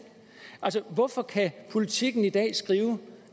hvorfor kan politiken i dag skrive